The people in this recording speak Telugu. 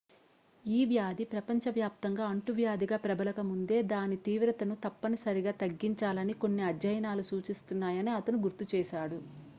ఈ వ్యాధి ప్రపంచవ్యాప్తంగా అంటువ్యాధిగా ప్రబలక ముందే దాని తీవ్రతను తప్పని సరిగా తగ్గించాలని కొన్ని అధ్యయనాలు సూచిస్తున్నాయని అతను గుర్తు చేసాడు